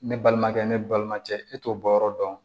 Ne balimakɛ ne balimakɛ e t'o bɔ yɔrɔ dɔn